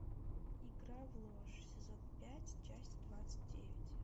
игра в ложь сезон пять часть двадцать девять